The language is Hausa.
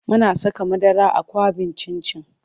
Muna saka madara a kwaɓin cin cin.